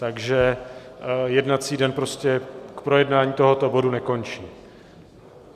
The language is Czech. Takže jednací den prostě k projednání tohoto bodu nekončí.